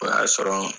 O y'a sɔrɔ